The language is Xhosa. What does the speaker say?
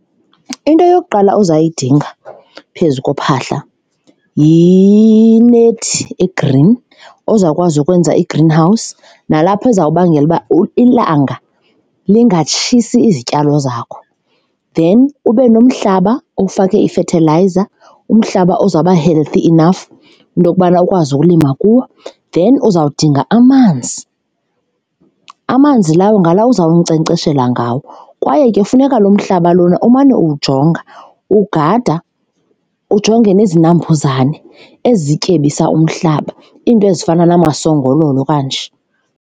Into eyokuqala ozayidinga phezu kophahla yinethi egreen ozawukwazi ukwenza i-green house nalapho izawubangela uba ilanga lingatshisi izityalo zakho. Then ube nomhlaba owufake ifethilayiza, umhlaba ozawuba healthy enough into yokubana ukwazi ukulima kuwo. Then uzawudinga amanzi, amanzi lawo ngala uza kunkcenkceshela ngawo kwaye ke funeka lo mhlaba lona umane uwujonga uwugada, ujonge nezinambuzane ezityebisa umhlaba, iinto ezifana namasongololo kanje.